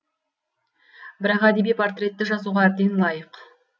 бірақ әдеби портреті жазуға әбден лайық